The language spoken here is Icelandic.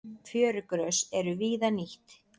Fjörugrös eru víða nýtt.